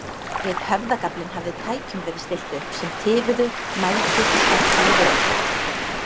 Við höfðagaflinn hafði tækjum verið stillt upp sem tifuðu, mældu og skömmtuðu vökva.